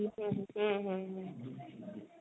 ହୁଁ ହୁଁ ହୁଁ